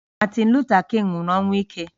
Martin Luther King nwụrụ ọnwụ ike